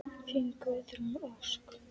Þín Guðrún Ósk.